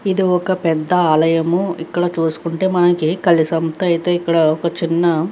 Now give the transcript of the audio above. ఇది ఒక పెద్ధ ఆలయము. ఇక్కడ చూసుకుంటే మనకీ కలశంతో అయితే ఒక చిన్న--